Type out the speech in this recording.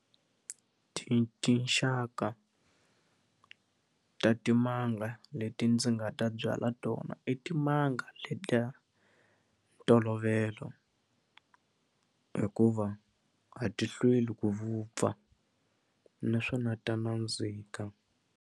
tinxaka ta timanga leti ndzi nga ta byala tona i timanga letiya ntolovelo hikuva a ti hlweli ku vupfa naswona ta nandzika.